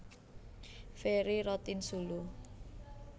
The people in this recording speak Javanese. Ferry Rotinsulu